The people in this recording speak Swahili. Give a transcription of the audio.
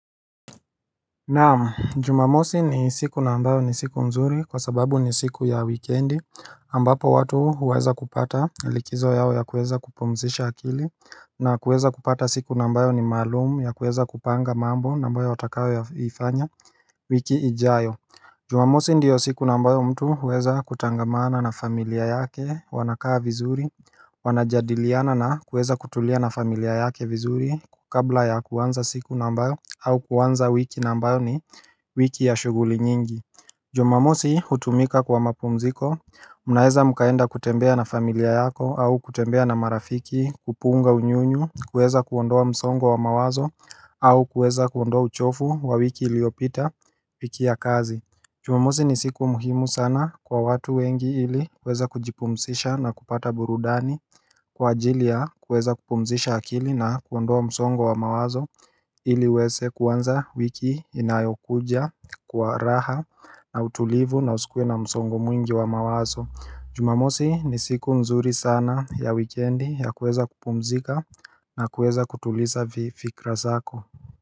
Naam, jumamosi ni siku na ambayo ni siku mzuri kwa sababu ni siku ya wikiendi ambapo watu huweza kupata likizo yao ya kuweza kupumzisha akili na kuweza kupata siku na ambayo ni maalum ya kuweza kupanga mambo na ambayo watakayoifanya wiki ijayo Jumamosi ndiyo siku na ambayo mtu huweza kutangamana na familia yake wanakaa vizuri Wanajadiliana na kuweza kutulia na familia yake vizuri kabla ya kuanza siku na ambayo au kuanza wiki na ambayo ni wiki ya shughuli nyingi Jumamosi hutumika kwa mapumziko mnaweza mkaenda kutembea na familia yako au kutembea na marafiki kupunga unyunyu, kuweza kuondoa msongo wa mawazo au kuweza kuondoa uchovu wa wiki iliopita wiki ya kazi. Jumamosi ni siku muhimu sana kwa watu wengi ili kuweza kujipumzisha na kupata burudani kwa ajili ya kuweza kupumzisha akili na kuondoa msongo wa mawazo ili huweze kuanza wiki inayokuja kwa raha na utulivu na usikuwe na msongo mwingi wa mawazo Jumamosi ni siku nzuri sana ya wikindi ya kweza kupumzika na kweza kutuliza fikra zako.